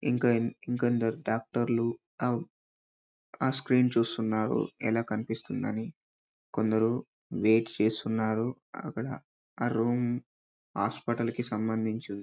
ఇంకా కొందరు డాక్టర్లు ఆ స్క్రీన్ చూస్తున్నారు ఎలా కనిపిస్తుందని ఎలా కనిపిస్తుందని ఇంకా కొందరు వెయిట్ చేస్తున్నారు రూమ్ హాస్పిటల్ కి సంబంధించింది